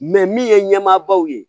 min ye ɲɛmaabaw ye